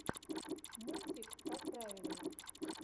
мультик какправильно